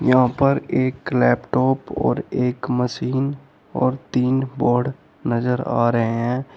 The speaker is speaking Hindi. यहां पर एक लैपटॉप और एक मशीन और तीन बोर्ड नजर आ रहे हैं।